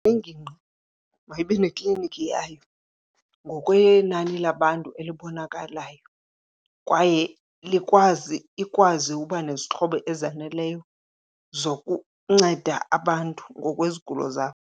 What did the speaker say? Ingingqi mayibe neklinikhi yayo ngokwenani labantu elibonakalayo kwaye ikwazi uba nezixhobo ezaneleyo zokunceda abantu ngokwezigulo zabo.